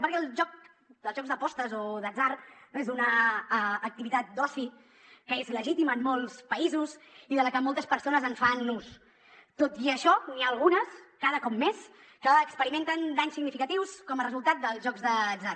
perquè el joc els jocs d’apostes o d’atzar és una activitat d’oci que és legítima en molts països i de la que moltes persones en fan ús tot i això n’hi ha algunes cada cop més que experimenten danys significatius com a resultat dels jocs d’atzar